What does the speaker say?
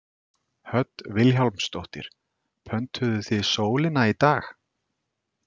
Hödd Vilhjálmsdóttir: Pöntuðuð þið sólina í dag?